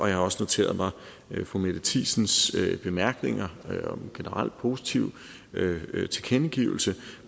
jeg har også noteret mig fru mette thiesens bemærkninger en generelt positiv tilkendegivelse